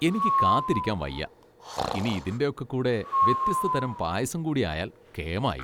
എനിക്ക് കാത്തിരിക്കാൻ വയ്യ! ഇനി ഇതിൻ്റെ ഒക്കെ കൂടെ വ്യത്യസ്തതരം പായസം കൂടിയായാൽ കേമായി.